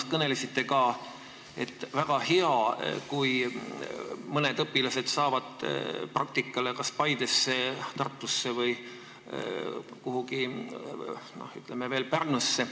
Te kõnelesite ka, et väga hea, kui mõned õpilased saavad praktikale kas Paidesse, Tartusse või kuhugi veel, ütleme, et Pärnusse.